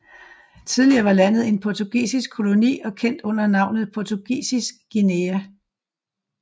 Tidligere var landet en portugisisk koloni og kendt under navnet Portugisisk Guinea